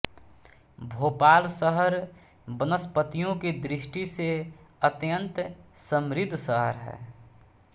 भोपाल शहर वनस्पतियों की दृष्टि से अत्यन्त समृद्ध शहर है